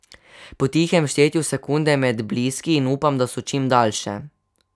Po tihem štejem sekunde med bliski in upam, da so čim daljše.